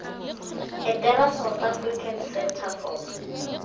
etela south african centre for